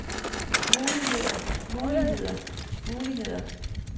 muligheder muligheder muligheder